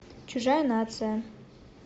чужая нация